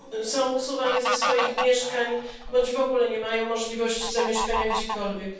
Są usuwani ze swoich mieszkań bądź w ogóle nie mają możliwości zamieszkania gdziekolwiek.